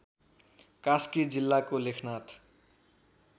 कास्की जिल्लाको लेखनाथ